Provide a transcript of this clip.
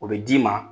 O bɛ d'i ma